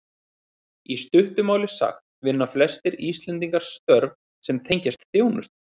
Í stuttu máli sagt vinna flestir Íslendingar störf sem tengjast þjónustu.